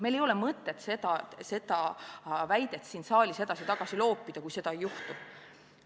Meil ei ole mõtet seda väidet siin saalis edasi-tagasi loopida, kui seda ei juhtu.